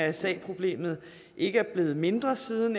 mrsa problemet ikke er blevet mindre siden